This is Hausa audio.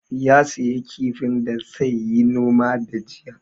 Ya sayi kifin da sai yi noma da jiya